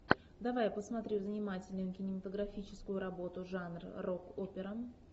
давай я посмотрю занимательную кинематографическую работу жанр рок опера